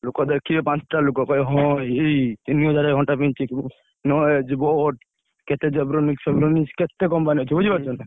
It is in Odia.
ଲୋକ ଦେଖିବେ ପାଞ୍ଚଟା ଲୋକ କହିବେ ହଁ ଏଇ ତିନିହଜାର ଘଣ୍ଟା ପିନ୍ଧିଛି Noise ।